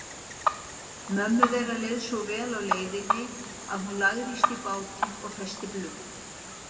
Mömmu þeirra leið svo vel á leiðinni að hún lagðist í bátinn og festi blund.